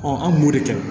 an b'o de kɛ